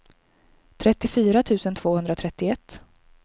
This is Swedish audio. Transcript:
trettiofyra tusen tvåhundratrettioett